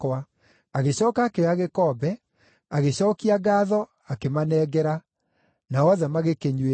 Agĩcooka akĩoya gĩkombe, agĩcookia ngaatho akĩmanengera, nao othe magĩkĩnyuĩra.